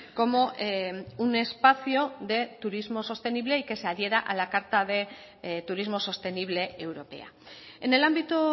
como un espacio de turismo sostenible y que se adhiera a la carta de turismo sostenible europea en el ámbito